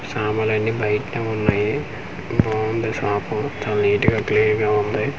సమాన్లనీ బైట ఉన్నాయి బావుంది షాపు చాలా నీట్ గా క్లీన్ గా ఉంది.